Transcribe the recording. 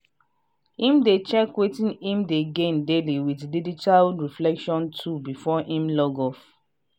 him dey check wetin him dey gain daily with digital reflection tool before him log off.